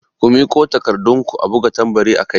Ku miƙo takarɗun ku a buga tambari akai!